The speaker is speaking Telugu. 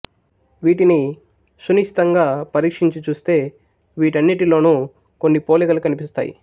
వీటిని సునిశితంగా పరీక్షించి చూస్తే వీటన్నిటిలోను కొన్ని పోలికలు కనిపిస్తాయి